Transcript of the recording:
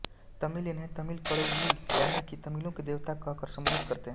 तमिल इन्हें तमिल कडवुल यानि कि तमिलों के देवता कह कर संबोधित करते हैं